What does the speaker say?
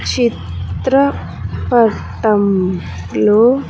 చిత్ర పటం లో.